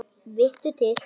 Vittu til!